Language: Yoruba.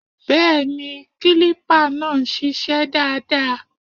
Bẹ́ẹ̀ni, kílípà náà ń ṣiṣẹ́ dáadáa